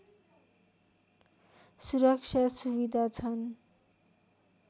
सुरक्षा सुविधा छन्